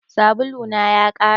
Sabulu na ya ƙare